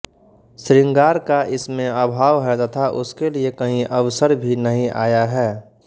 श्रृंगार का इसमें अभाव है तथा उसके लिए कहीं अवसर भी नहीं आया है